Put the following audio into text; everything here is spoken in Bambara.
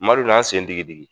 Madu na n sen digi digi.